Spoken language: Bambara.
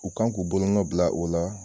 U kan k'u bolonɔ bila o la